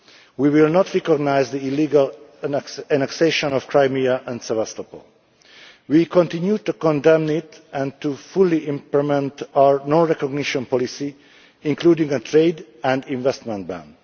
We will not recognise the illegal annexation of Crimea and Sevastopol. We continue to condemn it and to fully implement our non recognition policy, including a trade and investment ban.